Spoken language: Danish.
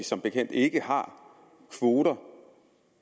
som bekendt ikke har kvoter